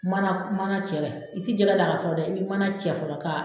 Mana mana cɛ ,i tɛ jɛgɛ d'a la fɔlɔ dɛ, i bɛ mana cɛ fɔlɔ k'a